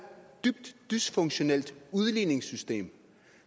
dybt dysfunktionelt udligningssystem